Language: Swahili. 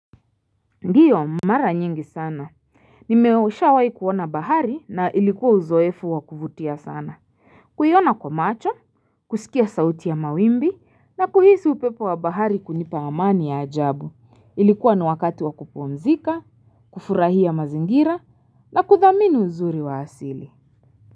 Ndiyo mara nyingi sana Nimeshawai kuona bahari na ilikuwa uzoefu wa kuvutia sana kuiona kwa macho, kusikia sauti ya mawimbi, na kuhisi upepo wa bahari kunipa amani ya ajabu Ilikuwa ni wakati wa kupumzika, kufurahia mazingira, na kuthamini uzuri wa asili.